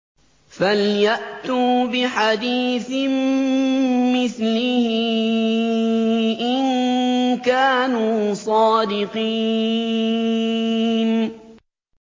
فَلْيَأْتُوا بِحَدِيثٍ مِّثْلِهِ إِن كَانُوا صَادِقِينَ